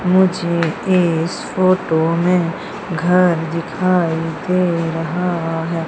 मुझे इस फोटो में घर दिखाई दे रहा है।